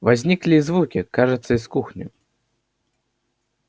возникли и звуки кажется из кухни